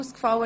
Enthalten